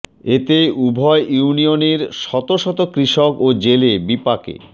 এতে উভয় ইউনিয়নের শত শত কৃষক ও জেলে বিপাকে